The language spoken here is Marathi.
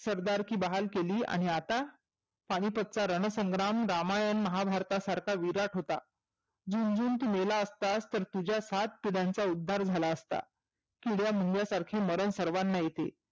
सरदारकी बहाल केली आणि आता पाणिपतचा रणसंग्राम रामायण महाभारतासारखा विरात होता झुंजून तु मेला असतास तर तुझ्या सात पिढ्यांंचा उद्धार झाला असता. किड्या मुंग्यांसारखे मरन सर्वांनाच येते.